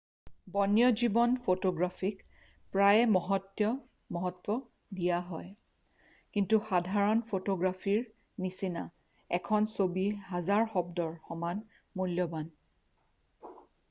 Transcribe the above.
বন্যজীৱন ফটোগ্ৰাফীক প্ৰায়ে মহত্ব দিয়া হয় কিন্তু সাধাৰণ ফটোগ্ৰাফীৰ নিচিনা এখন ছবি হাজাৰ শব্দৰ সমান মূল্যবান